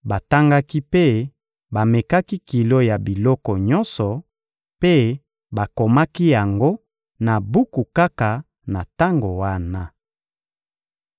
Batangaki mpe bamekaki kilo ya biloko nyonso; mpe bakomaki yango na buku kaka na tango wana.